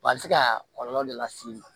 A bɛ se ka kɔlɔlɔ de las'i ma